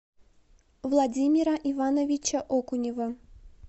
владимира ивановича окунева